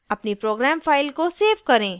अपनी program file को save करें